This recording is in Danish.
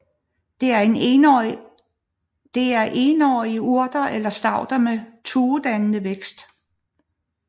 Det er énårige urter eller stauder med tuedannende vækst